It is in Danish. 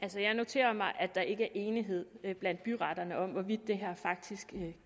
altså jeg noterer mig at der ikke er enighed blandt byretterne om hvorvidt det her faktisk